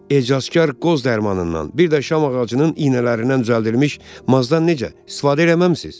Ecazkar qoz dərmanından, bir də şam ağacının iynələrindən düzəldilmiş mazdan necə istifadə eləməmisiz?